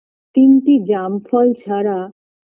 তিনটি জাম ফল ছাড়া